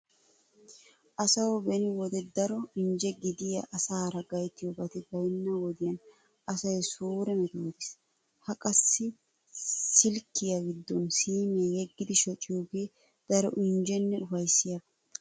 Asawu beni wode daro injje gidiya asaara gayttiyobati baynna wodiyan asay suure metootiis. Ha qassi silkkiya giddon siimiya yeggidi shociyogee daro injjenne ufayssiyaba.